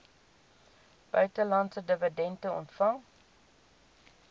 buitelandse dividende ontvang